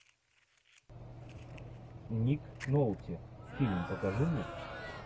ник нолти фильм покажи мне